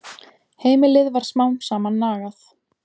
Heimilið varð smám saman nagað.